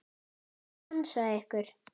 Sá sem ansaði ykkur.